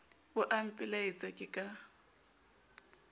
bo a mpelaetsa ke ka